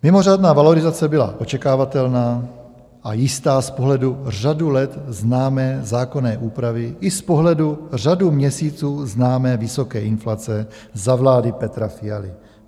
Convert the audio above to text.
Mimořádná valorizace byla očekávatelná a jistá z pohledu řadu let známé zákonné úpravy i z pohledu řadu měsíců známé vysoké inflace za vlády Petra Fialy.